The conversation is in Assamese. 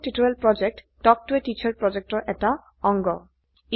কথন শিক্ষণ প্ৰকল্প তাল্ক ত a টিচাৰ প্ৰকল্পৰ এটা অংগ